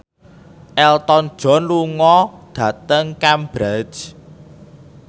Elton John lunga dhateng Cambridge